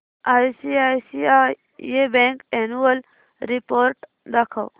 ICICI bank annual report दाखव